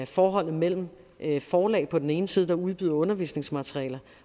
forholdet mellem forlag på den ene side der udbyder undervisningsmaterialer